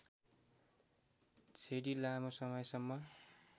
छेडी लामो समयसम्म